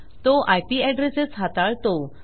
तो IP addresses हाताळतो